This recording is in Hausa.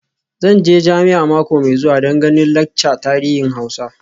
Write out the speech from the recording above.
Zan je jami'a mako mai zuwa don ganin laccar tarihin Hausa.